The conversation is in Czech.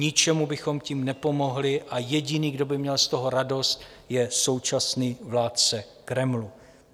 Ničemu bychom tím nepomohli a jediný, kdo by měl z toho radost, je současný vládce Kremlu.